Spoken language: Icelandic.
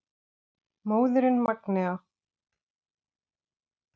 Móðirin Magnea.